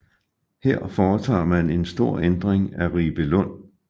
Her foretager man en stor ændring af Ribelund